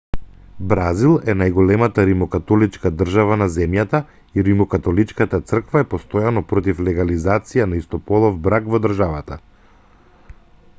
бразил е најголемата римокатоличка држава на земјата и римокатоличката црква е постојано против легализација на истополов брак во државата